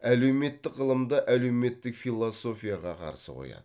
әлеуметтік ғылымды әлеуметтік философияға қарсы қояды